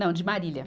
Não, de Marília.